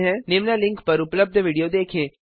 निम्न लिंक पर उपलब्ध विडियो देखें